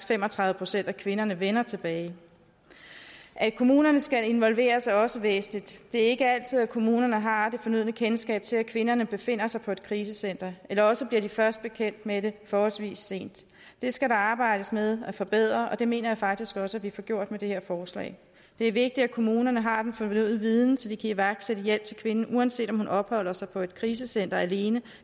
fem og tredive procent af kvinderne faktisk vender tilbage at kommunerne skal involveres er også væsentligt det er ikke altid kommunerne har det fornødne kendskab til at kvinderne befinder sig på et krisecenter eller også bliver de først bekendt med det forholdsvis sent det skal der arbejdes med at forbedre og det mener jeg faktisk også at vi får gjort med det her forslag det er vigtigt at kommunerne har den fornødne viden så de kan iværksætte hjælp til kvinden uanset om hun opholder sig på et krisecenter alene